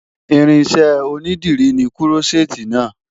Irinṣẹ́ onídìrí ni Kúrọ́ṣẹ́ẹ́tì náà.